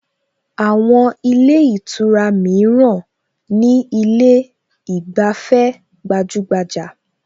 Àwọn ilé ìtura mìíràn ní ilé ìgbafẹ́ gbajúgbajà